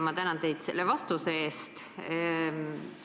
Ma tänan teid selle vastuse eest!